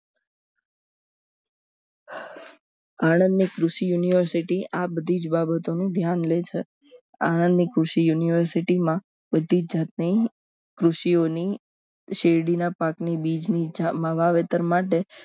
આણંદની કૃષિ university આ બધી જ બાબતોનું ધ્યાન લેશ આણંદ કૃષિ university માં બધી જાતની કૃષિઓની શેરડીના પાકની બીજ મળ વાવેતર માટે